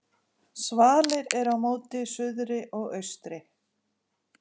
Svalir eru móti suðri og austri.